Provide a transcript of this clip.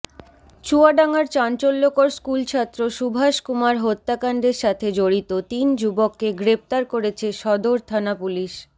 চুয়াডাঙ্গার চাঞ্চল্যকর স্কুলছাত্র সুভাষ কুমার হত্যাকাণ্ডের সাথে জড়িত তিন যুবককে গ্রেপ্তার করেছে সদর থানা পুলিশ